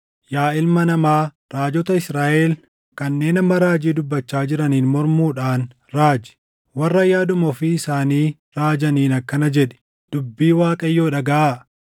“Yaa ilma namaa, raajota Israaʼel kanneen amma raajii dubbachaa jiraniin mormuudhaan raaji. Warra yaaduma ofii isaanii raajaniin akkana jedhi: ‘Dubbii Waaqayyoo dhagaʼaa!